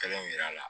Kelen yira la